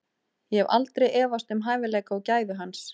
Ég hef aldrei efast um hæfileika og gæði hans.